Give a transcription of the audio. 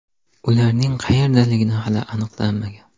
Ularning qayerdaligi hali aniqlanmagan.